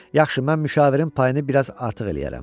Yaxşı, mən müşavirin payını bir az artıq eləyərəm.